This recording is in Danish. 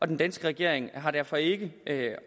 den danske regering har derfor ikke